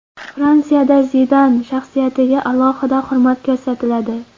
Fransiyada Zidan shaxsiyatiga alohida hurmat ko‘rsatiladi.